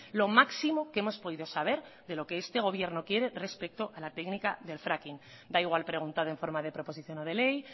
lo máximo que hemos podido saber de lo que este gobierno quiere respecto a la técnica del fracking da igual preguntar en forma de proposición no de ley